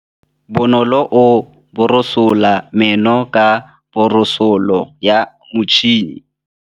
Bonolô o borosola meno ka borosolo ya motšhine.